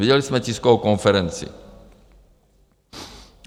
Viděli jsme tiskovou konferenci.